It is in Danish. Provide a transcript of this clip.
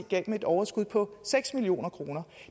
gav dem et overskud på seks million kroner